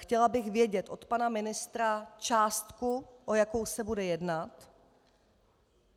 Chtěla bych vědět od pana ministra částku, o jakou se bude jednat.